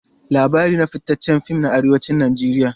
Labari na fitaccen fim ne a Arewacin Najeriya.